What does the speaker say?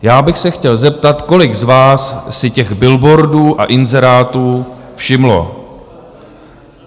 Já bych se chtěl zeptat, kolik z vás si těch billboardů a inzerátů všimlo.